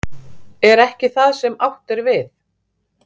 Er ekki það sem átt er við?